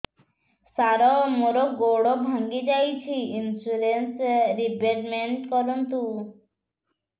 ସାର ମୋର ଗୋଡ ଭାଙ୍ଗି ଯାଇଛି ଇନ୍ସୁରେନ୍ସ ରିବେଟମେଣ୍ଟ କରୁନ୍ତୁ